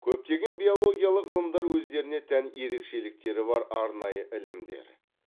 көптеген биологиялық ғылымдар өздеріне тән ерекшеліктері бар арнайы ілімдер